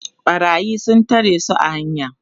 ɓarayi sun tare su a hanya